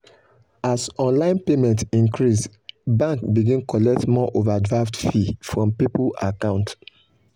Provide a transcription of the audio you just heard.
as online payment increase bank begin collect more overdraft fee from people account.